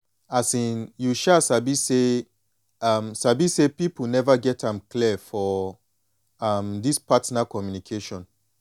um you um sabi say um sabi say people never get am clear for um this partner communication